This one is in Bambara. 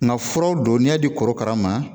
Nka furaw don n'i y'a di korokara ma